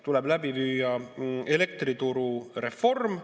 Tuleb läbi viia elektriturureform.